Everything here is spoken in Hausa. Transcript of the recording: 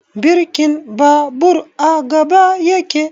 Birkin babur a gaba yake